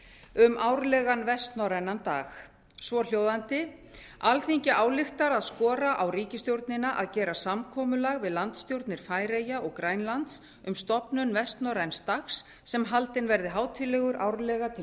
um árlegan vestnorrænan dag svohljóðandi alþingi ályktar að skora á ríkisstjórnina að gera samkomulag við landsstjórnir færeyja og grænlands um stofnun vestnorræns dags sem haldinn verði hátíðlegur árlega til